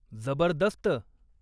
जबरदस्त!